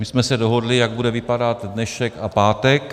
My jsme se dohodli, jak bude vypadat dnešek a pátek.